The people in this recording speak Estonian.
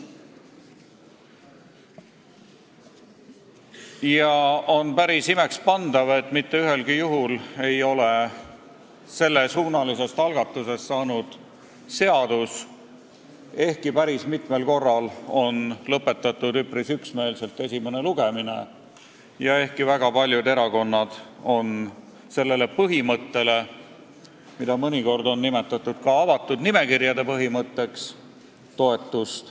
Iseenesest on päris imekspandav, et mitte ühelgi juhul ei ole sellekohasest algatusest saanud seadust, ehkki päris mitmel korral on lõpetatud üpris üksmeelselt esimene lugemine ja väga paljud erakonnad on avaldanud toetust ideele, mida mõnikord on nimetatud ka avatud nimekirjade põhimõtteks.